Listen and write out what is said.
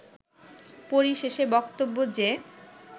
পরিশেষে বক্তব্য যে